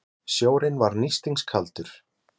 Sjórinn var nístingskaldur.